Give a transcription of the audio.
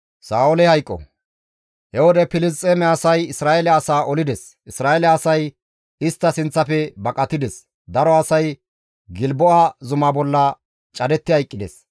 He wode Filisxeeme asay Isra7eele asaa olides; Isra7eele asay istta sinththafe baqatides; daro asay Gilbo7a zumaa bolla cadetti hayqqides.